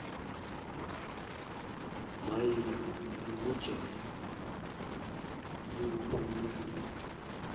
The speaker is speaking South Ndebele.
mayelana nobujamo bobulwelwe